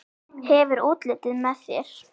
Hefur útlitið með þér.